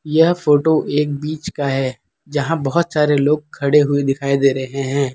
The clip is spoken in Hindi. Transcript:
यह फोटो एक बीच का है जहां बहोत सारे लोग खड़े हुए दिखाई दे रहे हैं।